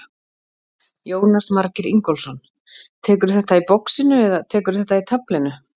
Jónas Margeir Ingólfsson: Tekurðu þetta í boxinu eða tekurðu þetta í taflinu?